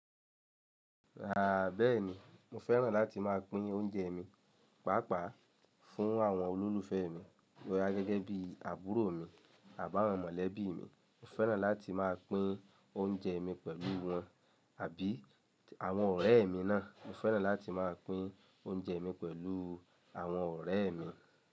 Rà bẹ́ẹ̀ni, mo fẹ́ràn láti máa pín oúnjẹ mi, pàápàá fún àwọn olólùfẹ́ mi bóya gẹ́gẹ́ bí àbúrò mi àbí àwọn mọ̀lẹ́bí mi. Mo fẹ́ràn láti máa pín oúnjẹ mi pẹ̀lú wọn àbí àwọn ọ̀rẹ́ mi náà. Mo fẹ́ràn láti máa pín oúnjẹ mi pẹ̀lú àwọn ọ̀rẹ́ mi.